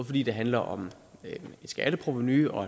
fordi det handler om skatteprovenu og